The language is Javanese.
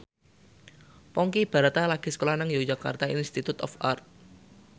Ponky Brata lagi sekolah nang Yogyakarta Institute of Art